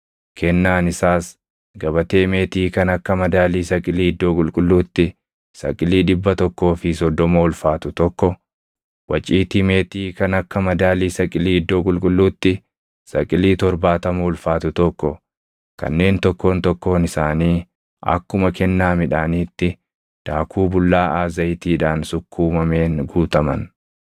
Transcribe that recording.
Kennaan isaas gabatee meetii kan akka madaalii saqilii iddoo qulqulluutti saqilii dhibba tokkoo fi soddoma ulfaatu tokko, waciitii meetii kan akka madaalii saqilii iddoo qulqulluutti saqilii torbaatama ulfaatu tokko kanneen tokkoon tokkoon isaanii akkuma kennaa midhaaniitti daakuu bullaaʼaa zayitiidhaan sukkuumameen guutaman,